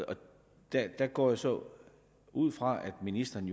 der går jeg så ud fra at ministeren